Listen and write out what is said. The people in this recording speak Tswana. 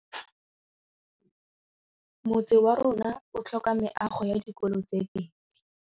Motse warona o tlhoka meago ya dikolô tse pedi.